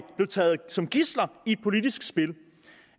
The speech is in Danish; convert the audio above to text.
blev taget som gidsler i et politisk spil